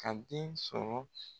Ka den sɔrɔ.